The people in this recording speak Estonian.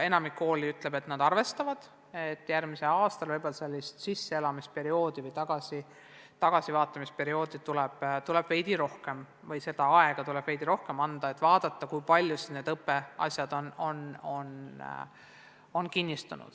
Enamik koole ütleb, et nad arvestavad sellega, et järgmisel aastal tuleb sisseelamise või tagasivaatamise perioodiks võib-olla veidi rohkem aega anda, et vaadata, kui palju on õpitu kinnistunud.